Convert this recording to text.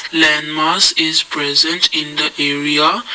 landmass is present in the area.